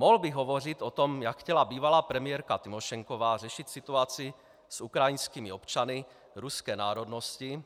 Mohl bych hovořit o tom, jak chtěla bývalá premiérka Tymošenková řešit situaci s ukrajinskými občany ruské národnosti,